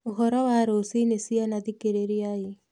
ũhoro wa rũciinĩ ciana thikĩrĩriai